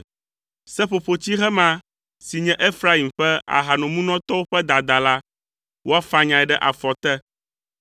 Seƒoƒotsihe ma si nye Efraim ƒe ahanomunɔtɔwo ƒe dada la, woafanyae ɖe afɔ te.